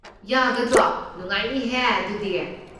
ꯌꯥꯒꯗ꯭ꯔꯣ? ꯅꯨꯡꯉꯥꯏꯅꯤꯍꯦ ꯑꯗꯨꯗꯤ꯫